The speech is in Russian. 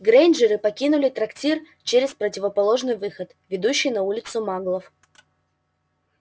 грэйнджеры покинули трактир через противоположный выход ведущий на улицу маглов